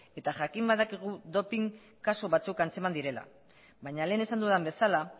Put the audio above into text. eta jakin badakigu doping kasu batzuk antzeman direla baina lehen esan dudan bezala